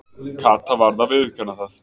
Kata varð að viðurkenna það.